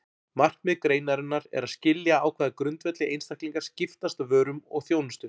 Markmið greinarinnar er að skilja á hvaða grundvelli einstaklingar skiptast á vörum og þjónustu.